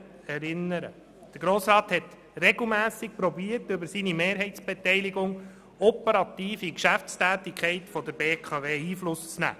Der Grosse Rat hat mehrmals versucht, über seine Mehrheitsbeteiligung operativ auf die Geschäftstätigkeit der BKW Einfluss zu nehmen.